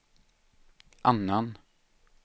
annan